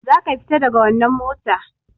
Za ka fita daga wannan mota!